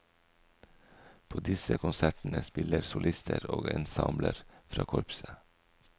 På disse konsertene spiller solister og ensembler fra korpset.